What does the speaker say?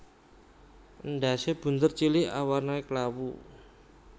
Endhasé bunder cilik awarna klawu